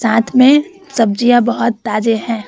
साथ में सब्जिया बहुत ताज़े है ।